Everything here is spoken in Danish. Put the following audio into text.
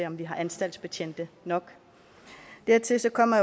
om vi har anstaltsbetjente nok dertil kommer